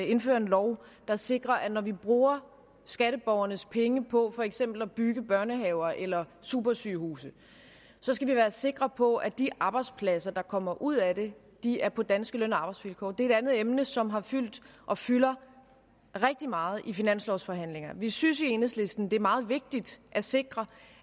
indføre en lov der sikrer at når vi bruger skatteborgernes penge på for eksempel at bygge børnehaver eller supersygehuse så skal vi være sikre på at de arbejdspladser der kommer ud af det er på danske løn og arbejdsvilkår det er et andet emne som har fyldt og fylder rigtig meget i finanslovsforhandlingerne vi synes i enhedslisten det er meget vigtigt at sikre